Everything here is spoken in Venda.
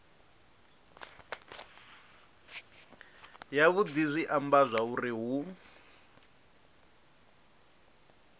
yavhudi zwi amba zwauri hu